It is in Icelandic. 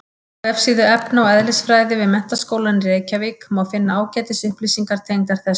Á vefsíðu efna- og eðlisfræði við Menntaskólann í Reykjavík má finna ágætis upplýsingar tengdar þessu.